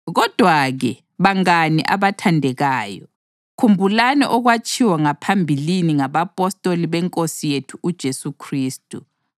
Kodwa-ke, bangane abathandekayo, khumbulani okwatshiwo ngaphambilini ngabapostoli beNkosi yethu uJesu Khristu.